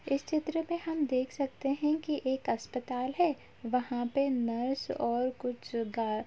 इस चित्र में हम देख सकते हैं कि एक अस्पताल है वहाँं पे नर्स और कुछ गा --